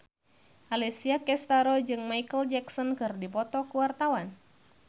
Alessia Cestaro jeung Micheal Jackson keur dipoto ku wartawan